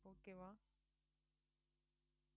okay வா